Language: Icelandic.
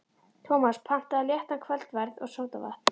Tómas pantaði léttan kvöldverð og sódavatn.